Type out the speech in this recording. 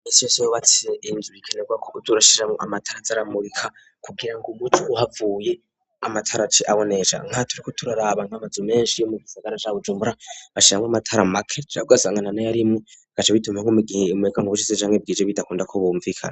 Iminsi yose iyo wubatse inzu bikenerwa ko uja urashiramo amatara zaramurika kugira ngo umuco uhavuye amatara ace abonesha nkaha turiko turarabantu amazu menshi yo mu Gisagara ca Bujumbura bashiramo amatara make cane ugasanga na yarimu gace bitume nkumigihe imureka nko bucitse hamwe bwije bidakunda ko bumvikana.